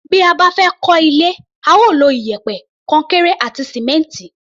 Bí a bá fẹ́ kọ́ ilé, a ó lo iyẹ̀pẹ̀, kọnkéré àti sìmẹ́ǹtì.